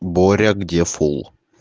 боря где фул